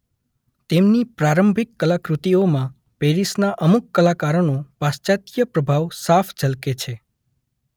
તેમની પ્રારંભિક કલાકૃતિઓમાં પેરિસના અમુક કલાકારોનો પાશ્ચાત્ય પ્રભાવ પ્રભાવ સાફ ઝલકે છે.